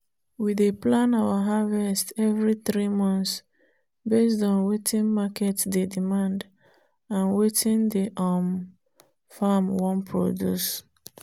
we dey plan our harvest every three months based on wetin market dey demand and wetin the um farm wan produce.